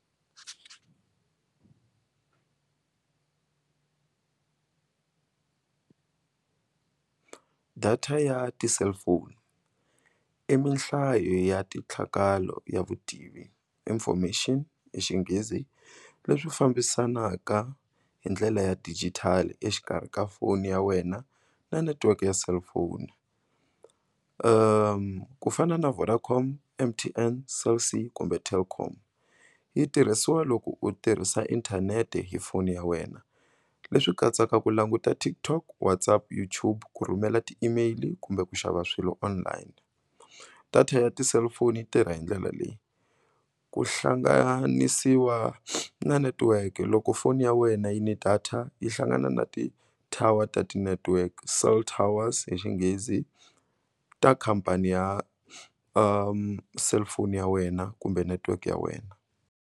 Data ya ti-cellphone i minhlayo ya titlhakalo ya vutivi information hi xinghezi leswi fambisanaka hi ndlela ya digital exikarhi ka foni ya wena na netiweke ya cellphone ku fana na Vodacom M_T_N, Cell C, kumbe Telkom yi tirhisiwa loko u tirhisa inthanete hi foni ya wena leswi katsaka ku languta TikTok, WhatsApp, YouTube ku rhumela ti-email kumbe ku xava swilo online. Data ya ti-cellphone yi tirha hi ndlela leyi ku hlanganisiwa na netiwekke loko foni ya wena yi ni data yi hlangana na ti-tower ta ti-network cell towers hi xinghezi ta khampani ya cellphone ya wena kumbe network ya wena.